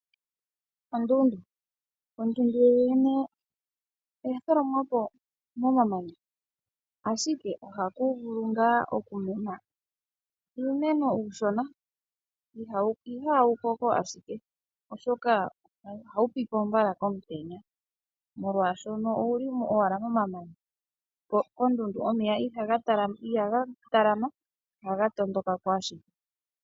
Ondundu, ondundu yo yene oya tholomwapo momamanya ashike ohaku vulu ngaa okumena uumeno uushona, iha wu koko ashike oshoka ohawu pipo mbala komutenya molwaashoka owuli owala momamanya moka omeya ihaga talama ohaga tondokako ashike.